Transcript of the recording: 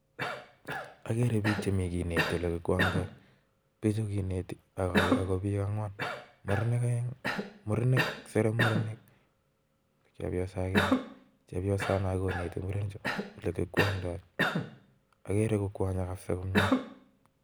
Ageree pik chemi. kineti. ole kikwangndai sereee murenik.ak.agere ale. mitei. koneti olekikwangdai kot missing